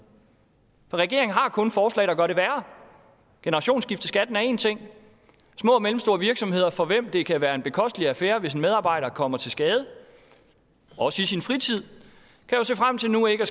for regeringen har kun forslag der gør det værre generationsskifteskatten er én ting små og mellemstore virksomheder for hvem det kan være en bekostelig affære hvis en medarbejder kommer til skade også i sin fritid kan jo se frem til nu ikke at